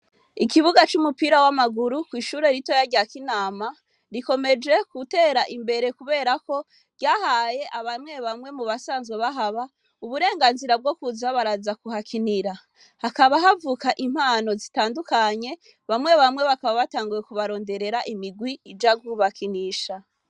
Ikibuga c'umupira w'amaguru kw'ishure ritoya rya kinama rikomeje gutera imbere, kubera ko ryahaye abamwe bamwe mu basanzwe bahaba uburenganzira bwo kuza baraza kuhakinira, hakaba havuka impano zitandukanye bamwe bamwe bakaba batanguye kubaronderera imigwi ija kubakinisha.